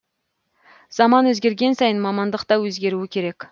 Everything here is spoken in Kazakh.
заман өзгерген сайын мамандық та өзгеруі керек